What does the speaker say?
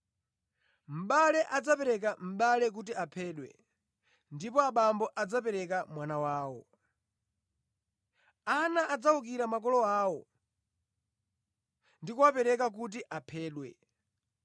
“Mʼbale adzapereka mʼbale kuti aphedwe, ndipo abambo adzapereka mwana wawo. Ana adzawukira makolo awo ndi kuwapereka kuti aphedwe.